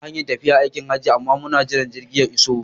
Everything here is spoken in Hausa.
Ina hanyar tafiya aikin Hajji amma muna jiran jirgi ya iso